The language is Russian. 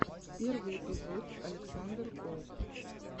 первый эпизод александр голд